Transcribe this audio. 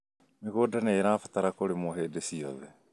Mĩgũnda nĩĩrabatara kũrĩmwo hĩndĩ ciothe